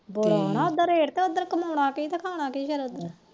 ਬੜਾ ਰੇਟ ਉਧਰ ਹਨਾ ਕਮਾਉਣਾ ਕੀ ਤੇ ਖਾਣਾ ਕੀ